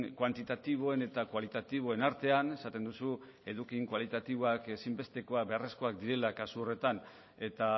kuantitatiboen eta kualitatiboen artean esaten duzu eduki kualitatiboak ezinbestekoak beharrezkoa direla kasu horretan eta